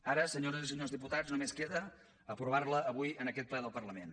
ara senyores i senyors diputats només queda aprovar la avui en aquest ple del parlament